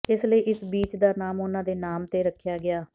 ਇਸ ਲਈ ਇਸ ਬੀਚ ਦਾ ਨਾਮ ਉਹਨਾਂ ਦੇ ਨਾਮ ਤੇ ਰੱਖਿਆ ਗਿਆ